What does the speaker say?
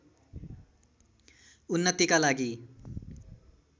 उन्नतिका लागि